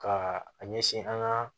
Ka a ɲɛsin an ka